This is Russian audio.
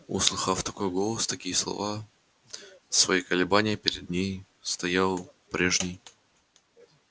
услыхав такой голос такие слова свои колебания перед ней стоял прежний